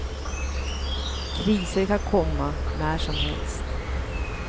Kriser kan komma när som helst.